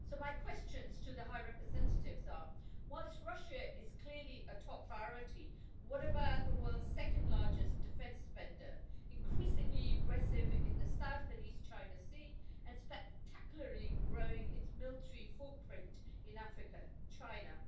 My questions to the High Representative are whilst Russia is clearly a top priority, what about the world's second largest defence spender, increasingly aggressive in the South and East China Sea and spectacularly growing its military footprint in Africa China?